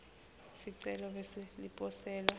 sicelo bese liposelwa